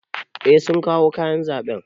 Eh sun kawo kayan zaɓe.